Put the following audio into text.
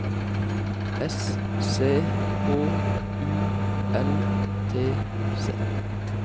S C H U L T Z